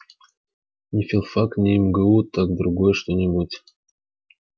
не филфак не мгу так другое что-нибудь